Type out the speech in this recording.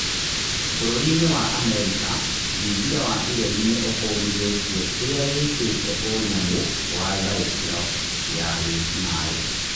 bũrũri-inĩ wa Amerika, thingira wa iregi nĩ ũkũmithĩ tie kĩ rĩ a wĩ tĩ te "ũnyamũ wa tharĩ kĩ ro ya wĩ kinaĩ "